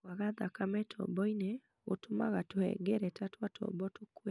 Kwaga thakame tobo-inĩ gũtũmaga tũhengereta twa tobo tũkue.